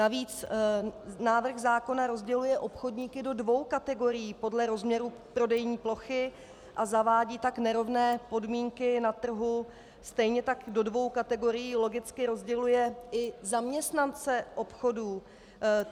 Navíc návrh zákona rozděluje obchodníky do dvou kategorií podle rozměrů prodejní plochy, a zavádí tak nerovné podmínky na trhu, stejně tak do dvou kategorií logicky rozděluje i zaměstnance obchodů.